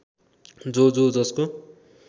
जो जो जसको